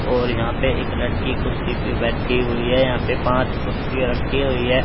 और यहाँ पे एक लड़की कुर्सी पे बैठी हुई हैं यहाँ पे पाँच कुर्सियाँ रखी हुई हैं।